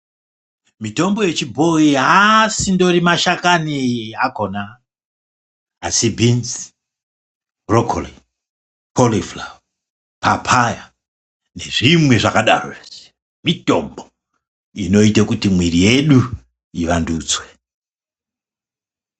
Mitombo yechibhoi haasindori mashakani ako. Asi binzi, bhurokori, korifurava, papaya nezvimwe zvakadarozve, mitombo inoite kuti mwiri yedu ivandudzwe.